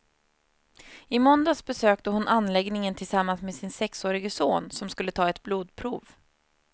I måndags besökte hon anläggningen tillsammans med sin sexårige son, som skulle ta ett blodprov.